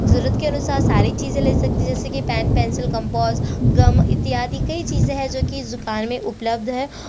जरूरत के अनुसार सारी चीज़ें ले सकते है जैसे कि पेन पेंसिल कंपास गम इत्यादि कई चीज़ें है जो कि इस दुकान में उपल्ब्ध है।